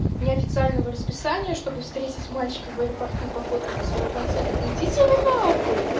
неофициально в расписании чтобы встретить мальчиков в аэропорту и пофоткались во франции да идите вы на хуй